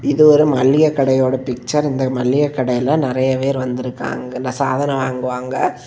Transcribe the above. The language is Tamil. இது ஒரு மளிகை கடையோட பிக்சர் இந்த மளிகை கடைல நறைய பேர் வந்திருக்காங்க இதுல சாதனோ வாங்குவாங்க.